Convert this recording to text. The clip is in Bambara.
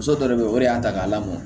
Muso dɔ bɛ yen o de y'a ta k'a lamɔ